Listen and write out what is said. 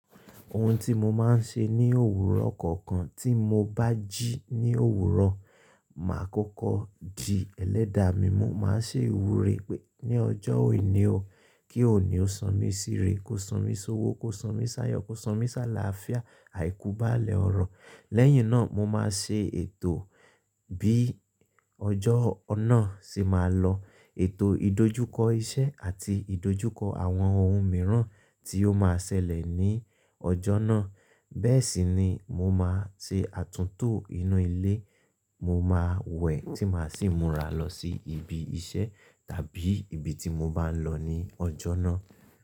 Ohun tí mo máa ń ṣe ní òwúrọ̀ kọ̀ọ̀kan, tí mo bá jí ní òwúrọ̀, màá kọ́kọ́ di ẹlẹ́da mi. Mo máa ṣe ìwúre pé ní ọjọ́ òní o, kí òní ó san mí síre. Kó san mí sówo, kó san mí s'áyọ́, kó san mí s'àlàáfíà, àìkú bá à lẹ́ ọ̀rọ̀. Lẹ́yìn náà mo máa ṣe ètò bí ọjọ́ ọ̀nà ṣe máa lọ. Ètò ìdojúkọ iṣẹ́ àti ìdojúkọ àwọn ohun mìíràn tí ó máa ṣẹlẹ̀ ní ọjọ́ náà. Bẹ́ẹ̀ sì ni mo máa ṣe àtúntò inú ilé, mo máa wẹ̀ tí màá sì múra lọ sí ibi iṣẹ́ tàbí ibi tí mo bá ń lọ ní ọjọ́ náà.